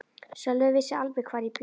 Sölvi vissi alveg hvar ég bjó.